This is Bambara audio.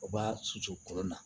U b'a susu kolon na